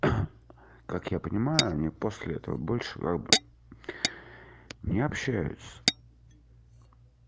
как я понимаю они после этого больше не общаются